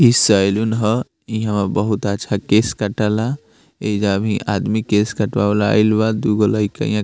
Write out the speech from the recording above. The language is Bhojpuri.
इ सैलून हअ इहा बहुत अच्छा केश कटाला एजा भी आदमी केश कटवावे ला आईल बा दुगो लइका यहाँ --